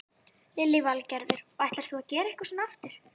Lillý Valgerður: Og ætlar þú að gera eitthvað svona aftur?